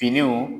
Finiw